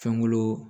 Fɛn wolo